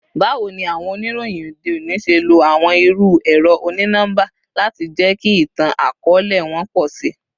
Bawo ni awọn oniroyin ode oni ṣe lo awọn iru ẹrọ oni-nọmba lati jẹki itan-akọọlẹ wọn pọ si?